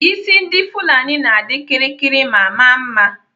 Isi ndị Fulani na-adị kịrịkịrị ma maa mma.